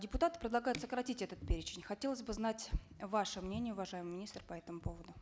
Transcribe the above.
депутаты предлагают сократить этот перечень хотелось бы знать ваше мнение уважаемый министр по этому поводу